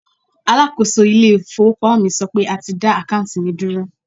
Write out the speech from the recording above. Alákòóso ilé ìfowópamọ́ mi sọ pé a ti dá àkáùntì mi dúró.